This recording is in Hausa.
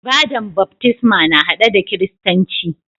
Ibada'n baftisma na hade da kiristanci.